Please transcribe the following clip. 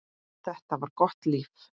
Þetta var gott líf.